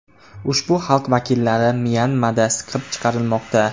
Ushbu xalq vakillari Myanmada siqib chiqarilmoqda.